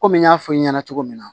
Komi n y'a fɔ i ɲɛna cogo min na